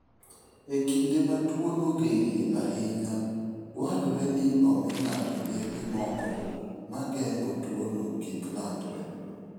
E kinde ma tuwono gerie ahinya, dwarore ni omi ng'ato yedhe moko ma geng'o tuwono kik landre.